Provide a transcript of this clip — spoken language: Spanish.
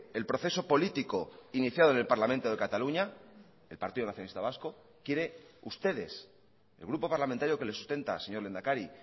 el proceso político iniciado en el parlamento de cataluña el partido nacionalista vasco quiere ustedes el grupo parlamentario que le sustenta señor lehendakari